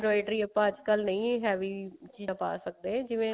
inventory ਆਪਾਂ ਅੱਜਕਲ ਨਹੀ heavy ਪਾ ਸਕਦੇ ਜਿਵੇਂ